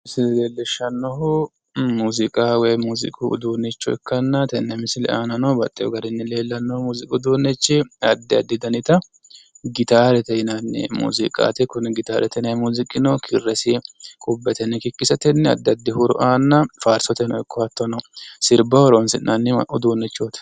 Misle leellishannohu muuziiqa woyim muuziiqu udunnicho ikkanna tenne misile aanano baxxewo garinni leellannohu muuziiqu uduunnichi addi addi danita gitaarete yinanni muuziiqaati kuni gitaarte yinanni muuziiqino kirresi qubbetenni kikkisatenni hattono addi addi huuro aanna faarsoteno ikko hattono sirbaho horoonsi'nanni uduunnichooti